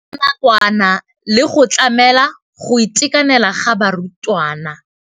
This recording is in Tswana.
Ya nakwana le go tlamela go itekanela ga barutwana.